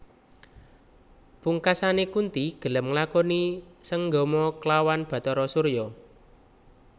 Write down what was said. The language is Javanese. Pungkasane Kunthi gelem nglakoni sanggama klawan Bathara Surya